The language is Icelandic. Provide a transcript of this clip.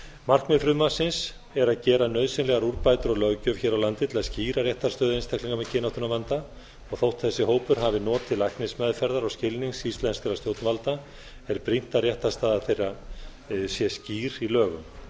markmið frumvarpsins er að gera nauðsynlegar úrbætur á löggjöf hér á landi til að skýra réttarstöðu einstaklinga með kynáttunarvanda og þó þessi hópur hafi notið læknismeðferðar og skilnings íslenskra stjórnvalda er brýnt að réttarstaða þeirra sé skýr í lögum